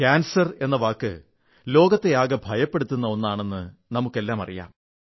cancer എന്ന വാക്ക് ലോകത്തെ ആകെ ഭയപ്പെടുത്തുന്ന ഒന്നാണെന്ന് നമുക്കെല്ലാമറിയാം